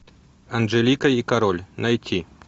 анжелика и король найти